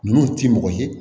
Ninnu ti mɔgɔ ye